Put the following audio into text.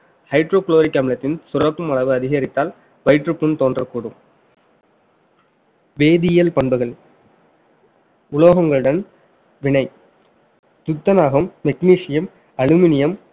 hydrochloric அமிலத்தின் சுரக்கும் அளவு அதிகரித்தால் வயிற்றுப் புண் தோன்றக்கூடும் வேதியியல் பண்புகள் உலோகங்களுடன் வினை துத்தநாகம் magnesium aluminium